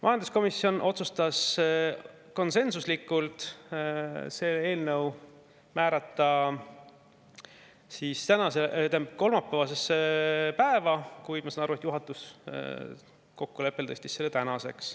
Majanduskomisjon otsustas konsensuslikult määrata selle eelnõu kolmapäevasesse päeva, kuid ma saan aru, et juhatuse kokkuleppe kohaselt tõsteti see tänasesse.